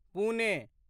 Pune